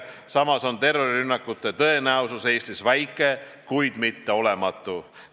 Samas on terrorirünnakute tõenäosus Eestis väike, kuid mitte olematu.